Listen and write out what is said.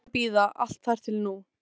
Ástin varð að bíða, allt þar til nú.